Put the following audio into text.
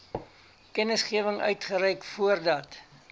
kennisgewing uitreik voordat